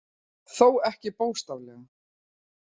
Þó ekki bókstaflega